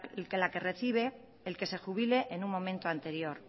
la que recibe el que se jubile en un momento anterior